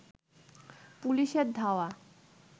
পুলিশের ধাওয়া